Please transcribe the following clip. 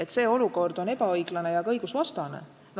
Kas selline olukord on ebaõiglane ja ka õigusvastane?